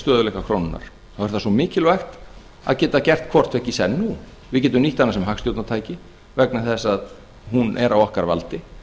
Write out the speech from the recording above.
stöðugleika krónunnar þá er það svo mikilvægt að geta gert hvorttveggja í senn við getum nýtt hana sem hagstjórnartæki vegna þess að hún er á okkar valdi